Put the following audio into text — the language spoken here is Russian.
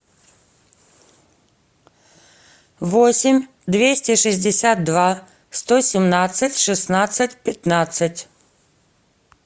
восемь двести шестьдесят два сто семнадцать шестнадцать пятнадцать